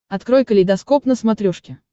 открой калейдоскоп на смотрешке